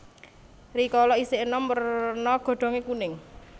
Rikala isih enom werna godhonge kuning